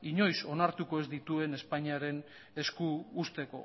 inoiz onartuko ez dituen espainiaren esku usteko